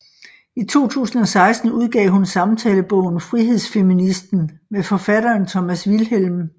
I 2016 udgav hun samtalebogen Frihedsfeministen med forfatteren Thomas Vilhelm